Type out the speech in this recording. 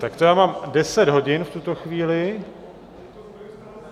Tak to já mám deset hodin v tuto chvíli.